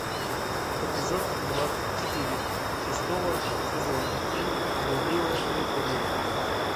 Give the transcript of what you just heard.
эпизод двадцать четыре шестого сезона фильм блудливая калифорния